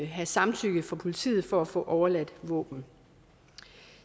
have samtykke fra politiet for at få overladt våben